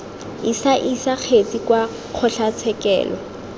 isa isa dikgetse kwa dikgotlatshekelo